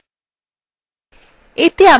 এতে আমরা শিখব